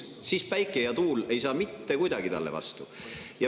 Siis ei saa päike ja tuul mitte kuidagi talle vastu.